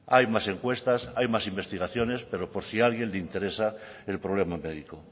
hay más encuestas hay más investigaciones pero por si a alguien le interesa el problema médico